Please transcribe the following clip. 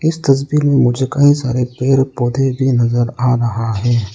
इस तस्वीर में मुझे कई सारे पेड़ पौधे भी नजर आ रहा है।